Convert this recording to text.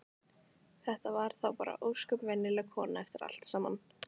Þetta var þá bara ósköp venjuleg kona eftir allt saman.